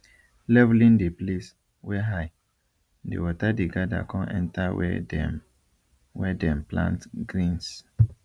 leveling the place wey high the water dey gather con enter where dem where dem plant greens